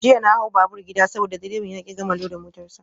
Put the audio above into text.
Jiya na hau babur gida saboda direban ya ki gama loda motar sa.